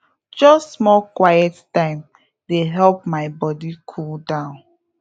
just small quiet time dey help my body cool down